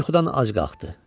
Tom yuxudan ac qalxdı.